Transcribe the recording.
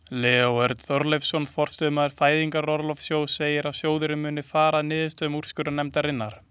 Leó Örn Þorleifsson, forstöðumaður Fæðingarorlofssjóðs segir að sjóðurinn muni fara að niðurstöðum úrskurðarnefndarinnar.